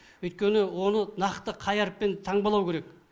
өйткені оны нақты қай әріппен таңбалау керек